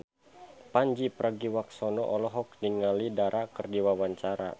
Pandji Pragiwaksono olohok ningali Dara keur diwawancara